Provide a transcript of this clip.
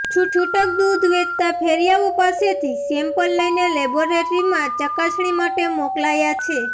છૂટક દૂધ વેચતા ફેરિયાઓ પાસેથી સેમ્પલ લઈને લેબોરેટરીમાં ચકાસણી માટે મોકલાયા છે